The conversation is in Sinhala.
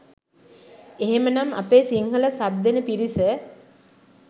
එහෙමනම් අපේ සිංහල සබ් දෙන පිරිස